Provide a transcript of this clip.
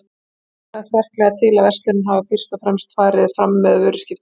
Bendir það sterklega til að verslunin hafi fyrst og fremst farið fram með vöruskiptum.